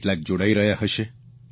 કેટલાક જોડાઇ રહ્યા હશે